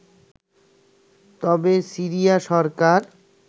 তবে সিরিয়া সরকার